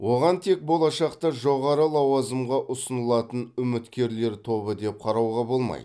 оған тек болашақта жоғары лауазымға ұсынылатын үміткерлер тобы деп қарауға болмайды